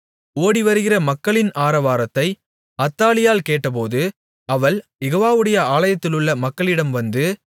ஓடிவருகிற மக்களின் ஆரவாரத்தை அத்தாலியாள் கேட்டபோது அவள் யெகோவாவுடைய ஆலயத்திலுள்ள மக்களிடம் வந்து